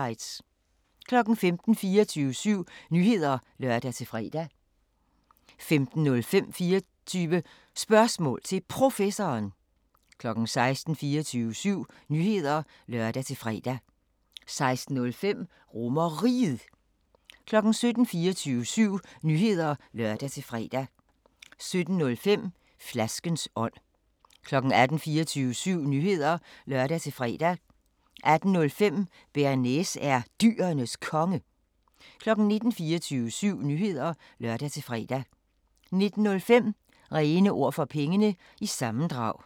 15:00: 24syv Nyheder (lør-fre) 15:05: 24 Spørgsmål til Professoren 16:00: 24syv Nyheder (lør-fre) 16:05: RomerRiget 17:00: 24syv Nyheder (lør-fre) 17:05: Flaskens ånd 18:00: 24syv Nyheder (lør-fre) 18:05: Bearnaise er Dyrenes Konge 19:00: 24syv Nyheder (lør-fre) 19:05: René Ord For Pengene – sammendrag